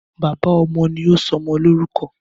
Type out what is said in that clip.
Bàbá ọmọ ni sọ ọmọ lorúkọ̀